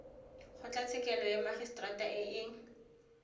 kgotlatshekelo ya magiseterata e e